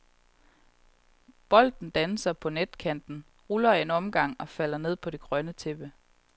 Bolden danser på netkanten, ruller en omgang og falder ned på det grønne tæppe.